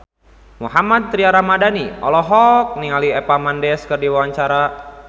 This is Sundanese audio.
Mohammad Tria Ramadhani olohok ningali Eva Mendes keur diwawancara